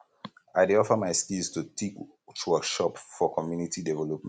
i dey offer my skills to teach workshops for community development